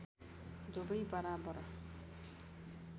दुबै बराबर